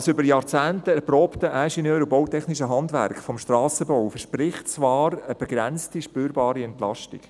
Das über Jahrzehnte erprobte ingenieur- und bautechnische Handwerk des Strassenbaus verspricht zwar eine begrenzte spürbare Entlastung.